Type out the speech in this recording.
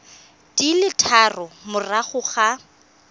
di le tharo morago ga